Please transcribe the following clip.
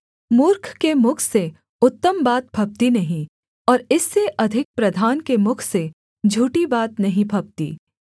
मूर्ख के मुख से उत्तम बात फबती नहीं और इससे अधिक प्रधान के मुख से झूठी बात नहीं फबती